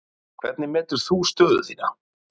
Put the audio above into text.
Fréttamaður: Hvernig meturðu stöðu þína?